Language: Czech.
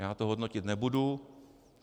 Já to hodnotit nebudu.